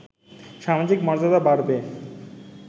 সামাজিক মর্যাদা বাড়বে